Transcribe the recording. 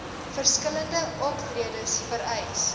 verskillende optredes vereis